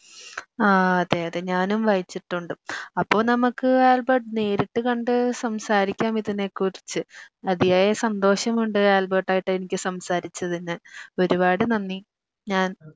ആഹ് അതെയതെ ഞാനും വായിച്ചിട്ടുണ്ട് അപ്പൊ നമുക്ക് ആൽബർട്ട് നേരിട്ട് കണ്ട് സംസാരിക്കാം ഇതിനെ കുറിച്ച് അതിയായ സന്തോഷം ഉണ്ട് എനിക്ക് ആൽബർട്ട് ആയിട്ട് എനിക്ക് സംസാരിച്ചത് ഇന്ന് ഒരുപാട് നന്ദി ഞാൻ